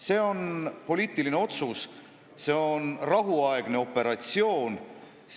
See on poliitiline otsus, see on rahuaegne operatsioon.